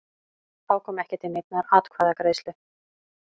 Þá kom ekki til neinnar atkvæðagreiðslu